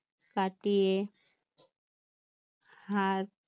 কাটিয়ে